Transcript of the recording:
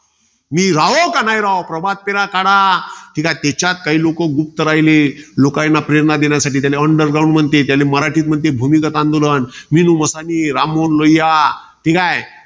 मी राहो किंवा न राहो. प्रभात फेऱ्या काढा. तेच्यात काही लोकं गुप्त राहिले. लोकांना प्रेरणा देण्यासाठी. त्याले underground म्हणते. त्याला मराठीत महाते, भूमिगत आंदोलन. राममोहन रुईया. ठीकाय.